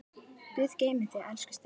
Guð geymi þig, elsku Steini.